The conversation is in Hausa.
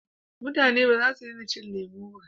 mutane ba za su dena shan lemo ba